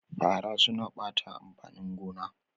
Fara suna ɓata amfanin gona